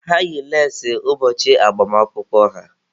Ha yi leesi ụbọchị agbamakwụkwọ ha.